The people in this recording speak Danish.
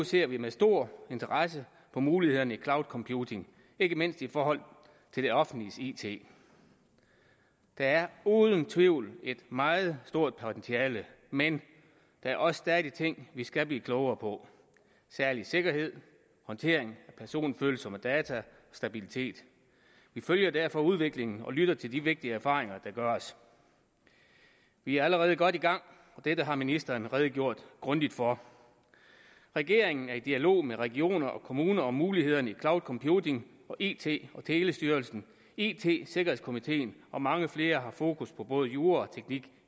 ser vi med stor interesse på mulighederne i cloud computing ikke mindst i forhold til det offentliges it der er uden tvivl et meget stort potentiale men der er også stadig ting vi skal blive klogere på særlig sikkerhed håndtering af personfølsomme data og stabilitet vi følger derfor udviklingen og lytter til de vigtige erfaringer der gøres vi er allerede godt i gang og dette har ministeren redegjort grundigt for regeringen er i dialog med regioner og kommuner om mulighederne i cloud computing og it og telestyrelsen it sikkerhedskomiteen og mange flere har fokus på både jura og teknik